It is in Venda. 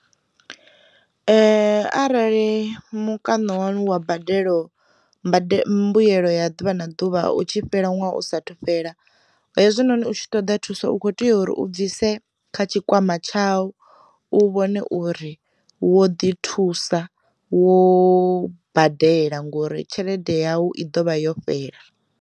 Arali mukano wanu wa badelo mbade mbuyelo ya ḓuvha na ḓuvha utshi fhela ṅwaha u sa thu fhela, hezwi noni hutshi ṱoḓa thusaou kho u ya uri u bvise kha tshikwama tshau, u vhone uri wo ḓi thusa wo badela ngori tshelede yau i ḓovha yo fhela.